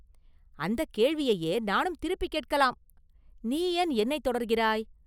“அந்தக் கேள்வியையே நானும் திருப்பிக் கேட்கலாம்; நீ ஏன் என்னைத் தொடர்கிறாய்?